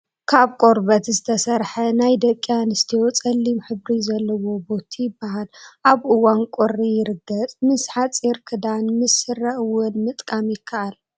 ካብ ቆርበት ዝተሰረሐ ናይ ደቂ ኣንስትዮ ፀሊም ሕብሪ ዘለዎ ቦቲ ይበሃል፣ ኣብ እዋን ቁሪ የርገፅ። ምስ ሓፂር ክዳን ምስ ስረን እወን ምጥቃም ይከኣል።